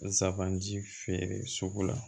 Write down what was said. Zaban ji feere sugu la